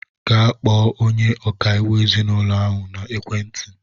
Gaa kpọọ onye ọkaiwu ezinaụlọ ahụ na-ekwe ntị!